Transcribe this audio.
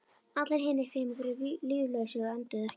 Allir hinir fimm voru líflausir og önduðu ekki.